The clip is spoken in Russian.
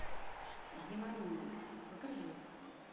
демония покажи